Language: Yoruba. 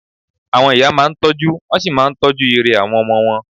Àwọn ìyá máa ń tọ́jú, wọ́n sì máa ń tọ́jú ire àwọn ọmọ wọn